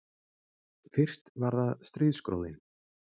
Fyrst var það stríðsgróðinn